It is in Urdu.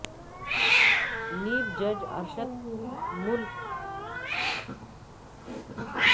نیب جج Arshad Malik video scandal case کی سماعت منگل کو سپریم کورٹ میں ہوگی